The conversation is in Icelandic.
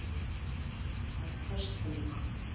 Afköst tölva